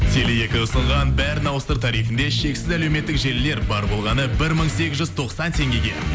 теле екі ұсынған бәрін ауыстыр тарифінде шексіз әлеуметтік желілер бар болғаны бір мың сегіз жүз тоқсан теңгеге